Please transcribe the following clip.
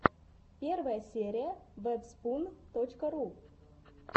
первая серия вэбспун точка ру